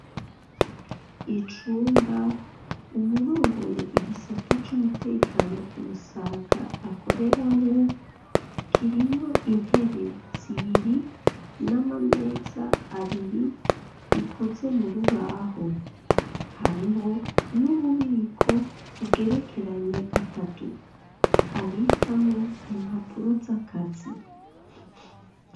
Icumba uwurongoye igisata c'umutekano ku Musaga akoreramwo kirimwo intebe zibiri n'amameza abiri bikoze mu rubaho, hariho n'ububiko bugerekeranye gatatu abikamwo impapuro z'akazi.